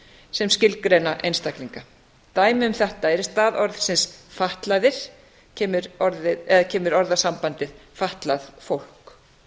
sem skilgreina einstaklinga dæmi um þetta eru að í stað orðsins fatlaðir kemur orðasambandið fatlað fólk